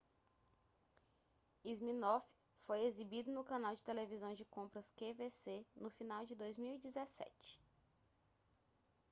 siminoff foi exibido no canal de televisão de compras qvc no final de 2017